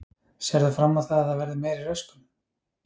Sérð þú fram á það að það verði meiri röskun?